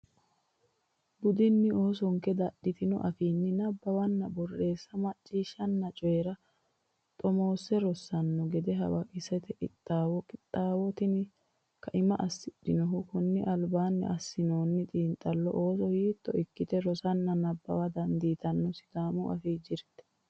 budinni oosonke dadhitino afiinsanni nabbawanna borreessa macciishshanna coyi ra xomoosse rossanno gede hawaqisate qixxaawinoho Qixxaawo tini kaima assidhinohu kunni albaanni assinoonni xiinxallonni ooso hiito ikkite rosanna nabbawa dandiitannoronna Sidaamu Afii jirte.